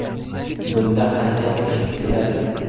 Bunda qanday ish tutiladi?